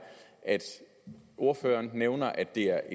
at ordføreren nævner at det er